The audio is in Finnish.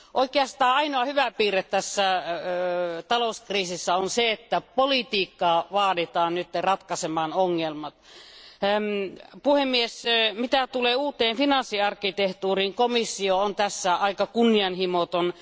Oikeastaan ainoa hyvä piirre tässä talouskriisissä on se, että politiikkaa vaaditaan nyt ratkaisemaan ongelmat. Mitä tulee uuteen finanssiarkkitehtuuriin, komissio on tässä aika kunnianhimoton.